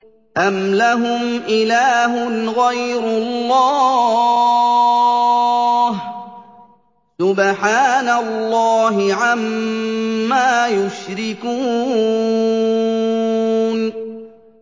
أَمْ لَهُمْ إِلَٰهٌ غَيْرُ اللَّهِ ۚ سُبْحَانَ اللَّهِ عَمَّا يُشْرِكُونَ